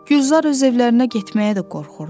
Gülzar öz evlərinə getməyə də qorxurdu.